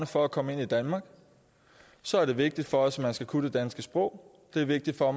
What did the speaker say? for at komme ind i danmark så er det vigtigt for os at man skal kunne det danske sprog det er vigtigt for